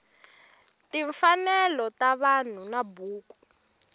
timfanelo ta vanhu na buku